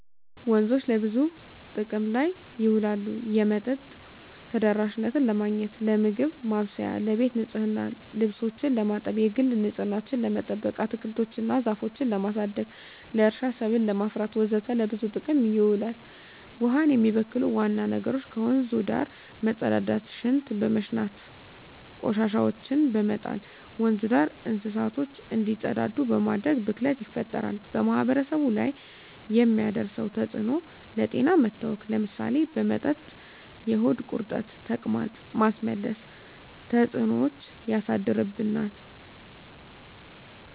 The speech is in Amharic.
ወንዞች ለብዙ ጥቅም ላይ ይውላሉ የመጠጥ ተደራሽነትን ለማግኘት, ለምግብ ማብሰያ , ለቤት ንፅህና , ልብሶችን ለማጠብ, የግል ንፅህናችን ለመጠበቅ, አትክልቶች እና ዛፎችን ለማሳደግ, ለእርሻ ሰብል ለማፍራት ወዘተ ለብዙ ጥቅም ይውላል። ውሀውን የሚበክሉ ዋና ነገሮች ከወንዙ ዳር መፀዳዳት , ሽንት በመሽናት, ቆሻሻዎችን በመጣል, ወንዙ ዳር እንስሳቶች እንዲፀዳዱ በማድረግ ብክለት ይፈጠራል። በማህበረሰቡ ላይ የሚያደርሰው ተፅዕኖ ለጤና መታወክ ለምሳሌ በመጠጥ የሆድ ቁርጠት , ተቅማጥ, ማስመለስ ተፅዕኖች ያሳድርብናል።